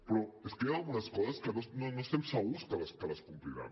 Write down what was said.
però és que hi ha algunes coses que no estem segurs que les compliran